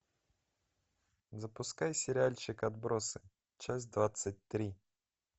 запускай сериальчик отбросы часть двадцать три